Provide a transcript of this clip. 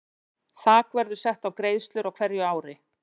Þak verður sett á greiðslur á hverju ári.